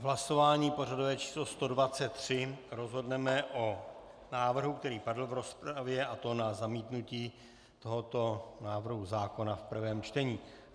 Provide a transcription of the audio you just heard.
V hlasování pořadové číslo 123 rozhodneme o návrhu, který padl v rozpravě, a to na zamítnutí tohoto návrhu zákona v prvém čtení.